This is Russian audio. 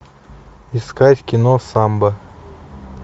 искать кино самбо